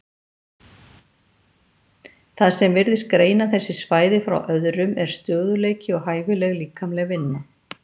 Það sem virðist greina þessi svæði frá öðrum er stöðugleiki og hæfileg líkamleg vinna.